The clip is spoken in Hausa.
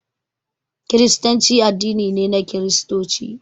Kiristanci addini ne na Kiristoci